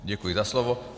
Děkuji za slovo.